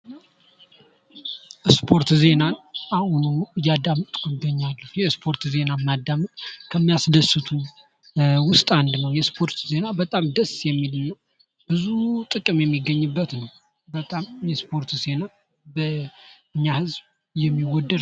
የስፖርት ዜናን አሁን ሁኑ እያዳመጡ እገኛለሁ የስፖርት ዜና ማዳመጥ ከሚያስደስት ውስጥ አንዱ ነው። የስፖርት ዜና በጣም ደስ የሚል እና ብዙ ጥቅም የሚገኝበት ነው። የስፖርት ዜና በእኛ ህዝብ የሚወደድ ነው።